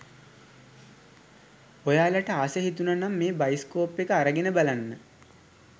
ඔයාලට ආස හිතුණනම් මේ බයිස්කෝප් එක අරගෙන බලන්න